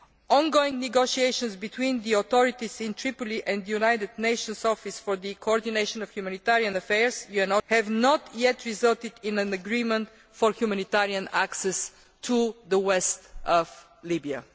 Ongoing negotiations between the authorities in Tripoli and the United Nations Office for the Coordination of Humanitarian Affairs have not yet resulted in an agreement on humanitarian access to western Libya.